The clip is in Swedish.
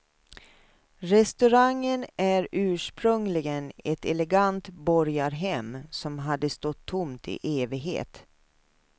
Restaurangen är ursprungligen ett elegant borgarhem som hade stått tomt i evighet.